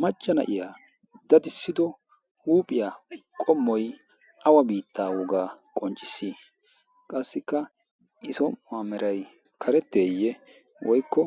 machchana iya dadissido huuphiyaa qommoi awa biittaa wogaa qonccissi qassikka i so' uwaa merai karetteeyye woykko